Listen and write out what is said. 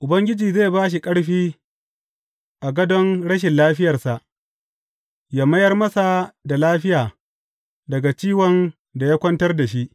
Ubangiji zai ba shi ƙarfi a gadon rashin lafiyarsa ya mayar masa da lafiya daga ciwon da ya kwantar da shi.